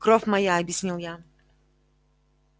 кровь моя объяснил я